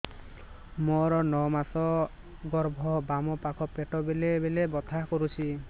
ମୋର ନଅ ମାସ ଗର୍ଭ ବାମ ପାଖ ପେଟ ବେଳେ ବେଳେ ବଥା କରୁଛି